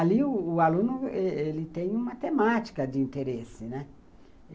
Ali o o aluno ele ele tem uma temática de interesse, né.